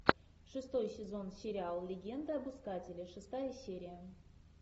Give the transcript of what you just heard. шестой сезон сериала легенда об искателе шестая серия